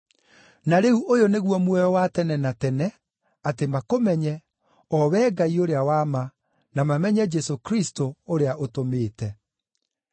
Na rĩu ũyũ nĩguo muoyo wa tene na tene: Atĩ makũmenye, o Wee Ngai ũrĩa wa ma, na mamenye Jesũ Kristũ, ũrĩa ũtũmĩte.